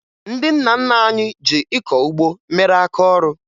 Ndị nna nna anyị ji ịkọ ụgbọ mere aka ọrụ